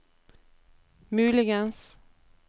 muligens